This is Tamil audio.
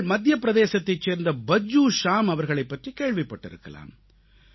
நீங்கள் மத்திய பிரதேசத்தைச் சேர்ந்த பஜ்ஜூ ஷ்யாம் அவர்களைப் பற்றிக் கேள்விப்பட்டிருக்கலாம்